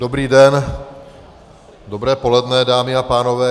Dobrý den, dobré poledne, dámy a pánové.